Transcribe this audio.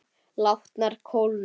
Látnar kólna.